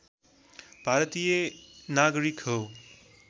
भारतीय नागरिक हो